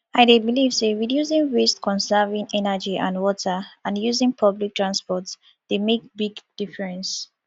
i dey believe say reducing waste conserving energy and water and using public transport dey make big difference